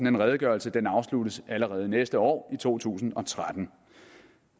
en redegørelse afsluttes allerede næste år i to tusind og tretten